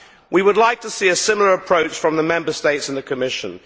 We would like to see a similar approach from the Member States and the Commission.